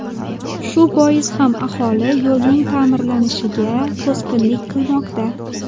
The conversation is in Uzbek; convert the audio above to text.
Shu bois ham aholi yo‘lning ta’mirlanishiga to‘sqinlik qilmoqda.